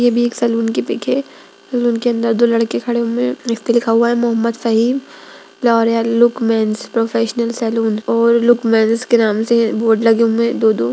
ये भी एक सैलून की पिक है सैलून के अंदर दो लड़के खड़े हैं एक पे लिखा है Mohammad Fahim L'Oreal look men's professional salon --